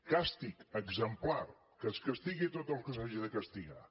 càstig exemplar que es castigui tot el que s’hagi de castigar